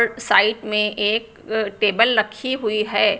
Side में एक अ टेबल लखी हुई है।